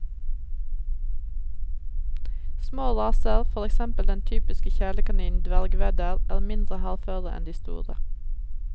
Små raser, for eksempel den typiske kjælekaninen dvergwedder, er mindre hardføre enn de store.